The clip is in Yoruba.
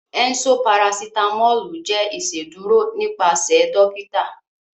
Ẹ̀nṣọ parasitamọlù jẹ́ ìṣédurò nípasẹ̀ dọ̀kìtà